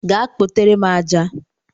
Gaa kpotere m aja!